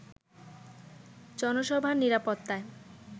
জনসভার নিরাপত্তায়